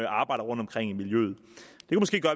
arbejder rundtomkring i miljøet